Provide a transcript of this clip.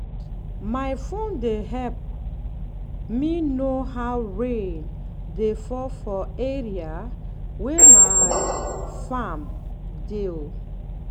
my phone dey help me know how rain dey fall for area wey my farm dey ooo